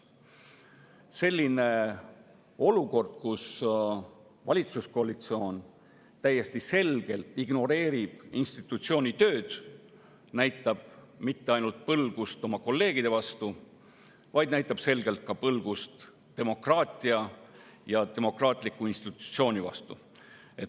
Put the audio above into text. Selline olukord, kus valitsuskoalitsioon täiesti selgelt ignoreerib selle institutsiooni tööd, näitab mitte ainult põlgust oma kolleegide vastu, vaid näitab selgelt ka põlgust demokraatia ja demokraatliku institutsiooni vastu.